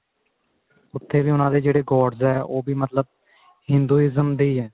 ਉੱਥੇ ਵੀ ਉਹਨਾ ਦੇ ਜਿਹੜੇ gods ਏ ਉਹ ਵੀ ਮਤਲਬ Hinduism ਦੇ ਈ ਹੈ